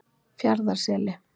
Fjarðarseli